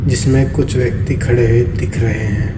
जिसमें कुछ व्यक्ति खड़े हुए दिख रहे हैं।